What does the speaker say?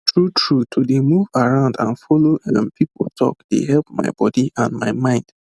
true true to dey move around and follow um people talk dey help my body and my mind